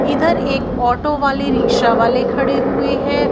इधर एक ऑटो वाले रिक्शा वाले खड़े हुएं हैं।